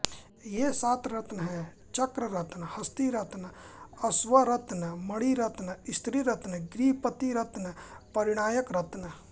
ये सात रत्न हैं चक्ररत्न हस्तिरत्न अश्वरत्न मणिरत्न स्त्रीरत्न गृहपतिरत्न परिणायक रत्न